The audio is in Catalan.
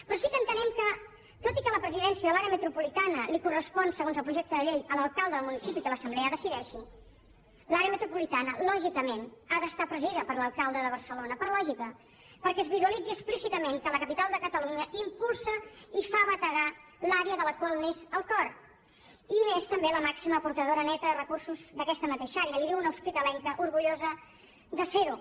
però sí que entenem que tot i que la presidència de l’àrea metropolitana li correspon segons el projecte de llei a l’alcalde del municipi que l’assemblea decideixi l’àrea metropolitana lògicament ha d’estar presidida per l’alcalde de barcelona per lògica perquè es visualitzi explícitament que la capital de catalunya impulsa i fa bategar l’àrea de la qual n’és el cor i n’és també la màxima aportadora neta de recursos d’aquesta mateixa àrea li ho diu una hospitalenca orgullosa de serho